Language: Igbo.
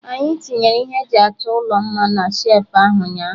Anyị tinyere ihe eji achọ ụlọ mma na shelfụ ahụ ụnyaahụ